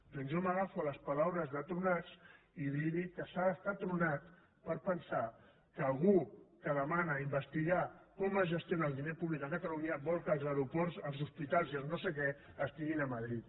doncs jo m’agafo a les paraules de tronats i li dic que s’ha d’estar tronat per pensar que algú que demana investigar com es gestiona el diner públic a catalunya vol que els aeroports els hospitals i els no sé què estiguin a madrid